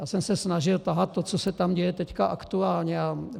Já jsem se snažil tahat to, co se tam děje teď aktuálně.